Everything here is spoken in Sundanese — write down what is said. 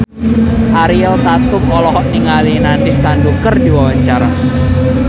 Ariel Tatum olohok ningali Nandish Sandhu keur diwawancara